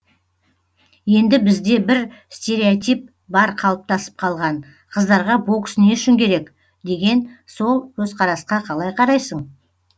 енді бізде бір стереотип бар қалыптасып қалған қыздарға бокс не үшін керек деген сол көзқарасқа қалай қарайсың